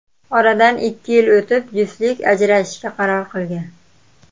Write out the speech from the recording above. Oradan ikki yil o‘tib juftlik ajrashishga qaror qilgan.